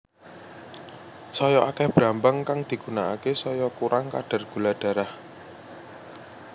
Saya akéh brambang kang digunakaké saya kurang kadar gula darah